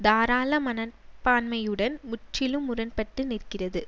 தாராள மனப்பான்மையுடன் முற்றிலும் முரண்பட்டு நிற்கிறது